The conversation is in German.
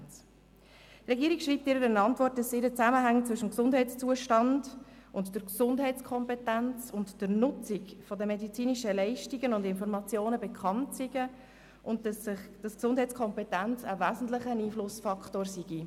Die Regierung schreibt in ihrer Antwort, dass ihr die Zusammenhänge zwischen dem Gesundheitszustand, der Gesundheitskompetenz und der Nutzung medizinischer Leistungen und Informationen bekannt seien, und dass die Gesundheitskompetenz ein wesentlicher Einflussfaktor sei.